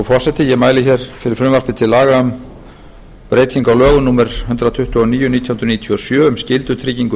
laga um breytingu á lögum númer hundrað tuttugu og níu nítján hundruð níutíu og sjö um skyldutryggingu